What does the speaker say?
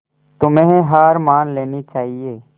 तुम्हें हार मान लेनी चाहियें